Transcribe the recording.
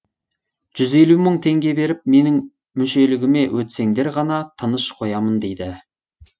жүз елу мың теңге беріп менің мүшелігіме өтсеңдер ғана тыныш қоямын дейді